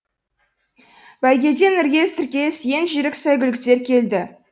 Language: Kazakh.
бәйгеден іркес тіркес ең жүйрік сәйгүліктер келді